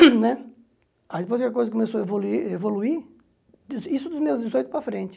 Né aí depois que a coisa começou a evoluir, i isso dos meus dezoito para frente.